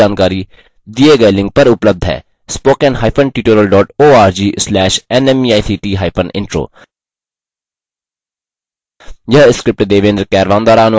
इस mission पर अधिक जानकारी दिए गए लिंक पर उपलब्ध है